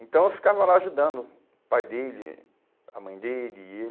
Então eu ficava lá ajudando o pai dele, a mãe dele e